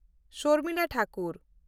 Sharmila Thakur